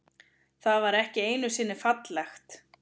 Það var ekki einusinni fallegt.